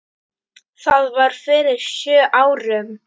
Það var fyrir sjö árum.